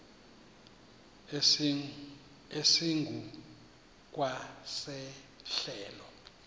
esingu kwa sehlelo